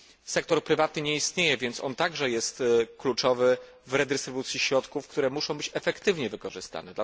Sektor prywatny nie istnieje, a on także jest kluczowy w redystrybucji środków, które muszą być efektywnie wykorzystane.